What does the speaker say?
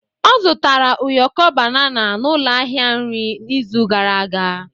Ọ zụtara ụyọkọ banana n'ụlọ ahịa nri n'izu gara aga.